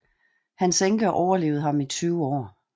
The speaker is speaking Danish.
Hans enke overlevede ham i 20 år